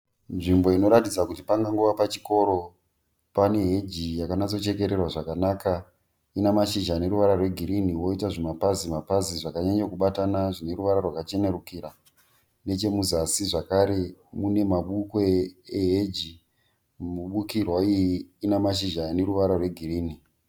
Nzvimbo inoratidza kuti pangangova pachikoro. Pane heji yaka natso chekererwa zvakanaka. Ina mashizha aneruvara rwe girinhi, yoita zvima pazi mapazi zvakanyanya kubatana zvine ruvarara rwaka chenerukira. Nechemuzasi zvakare mune ma bupwe eheji, mibukirwa iyi ina mashizha ane ruvara rwe girinhi.